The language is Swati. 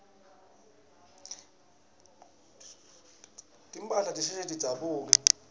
timphahla tisheshe tidzabuke